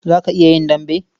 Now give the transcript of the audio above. Za ka iya yin dambe?